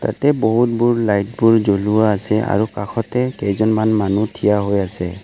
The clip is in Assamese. ইয়াতে বহুতবোৰ লাইট বোৰ জ্বলোৱা আছে আৰু কাষতে কেইজনমান মানুহ থিয় হৈ আছে।